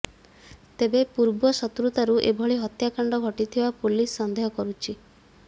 ତେବେ ପୂର୍ବ ଶତ୍ରୁତାରୁ ଏଭଳି ହତ୍ୟାକାଣ୍ଡ ଘଟିଥିବା ପୋଲିସ ସନ୍ଦେହ କରୁଛି